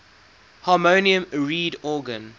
harmonium reed organ